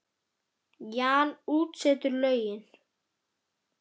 Jan útsetur lögin.